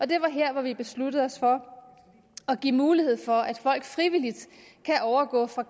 det var her vi besluttede os for at give mulighed for at folk frivilligt kan overgå fra